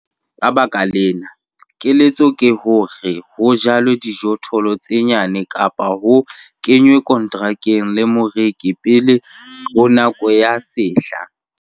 Ka baka lena, keletso ke hore ho jalwe dijothollo tse nyane kapa ho kenwe konterakeng le moreki pele ho nako ya sehla.